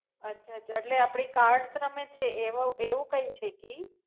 અચ્છા અચ્છા એટલે આપડે cards રમે છે એવાવ એવુ કાઈ છે કે ઈ?